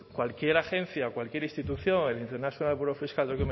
cualquier agencia o cualquier institución el international bureau of fiscal